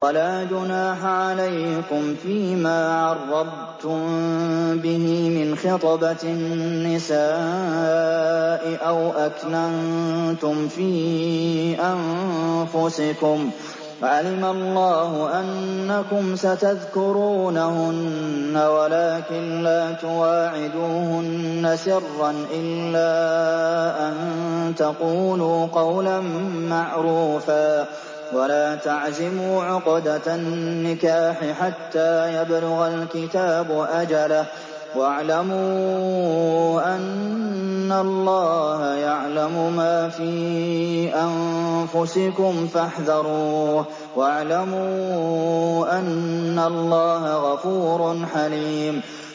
وَلَا جُنَاحَ عَلَيْكُمْ فِيمَا عَرَّضْتُم بِهِ مِنْ خِطْبَةِ النِّسَاءِ أَوْ أَكْنَنتُمْ فِي أَنفُسِكُمْ ۚ عَلِمَ اللَّهُ أَنَّكُمْ سَتَذْكُرُونَهُنَّ وَلَٰكِن لَّا تُوَاعِدُوهُنَّ سِرًّا إِلَّا أَن تَقُولُوا قَوْلًا مَّعْرُوفًا ۚ وَلَا تَعْزِمُوا عُقْدَةَ النِّكَاحِ حَتَّىٰ يَبْلُغَ الْكِتَابُ أَجَلَهُ ۚ وَاعْلَمُوا أَنَّ اللَّهَ يَعْلَمُ مَا فِي أَنفُسِكُمْ فَاحْذَرُوهُ ۚ وَاعْلَمُوا أَنَّ اللَّهَ غَفُورٌ حَلِيمٌ